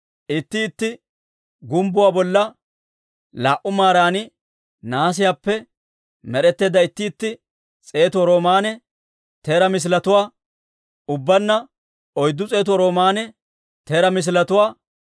Itti itti gumbbuwaa bolla laa"u maaran nahaasiyaappe, med'etteedda itti itti s'eetu roomaanne teeraa misiletuwaa, ubbaanna oyddu s'eetu roomaanne teeraa misiletuwaa,